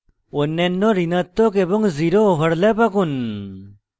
অন্যান্য ঋণাত্মক এবং zero overlaps আঁকুন